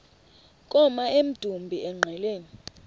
koma emdumbi engqeleni